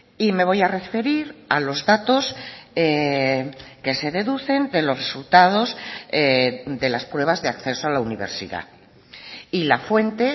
y me voy a referir a los datos que se deducen de los resultados de las pruebas de acceso a la universidad y la fuente